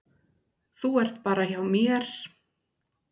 Þú ert bara hjá mér.